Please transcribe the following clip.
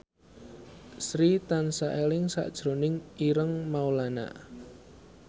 Sri tansah eling sakjroning Ireng Maulana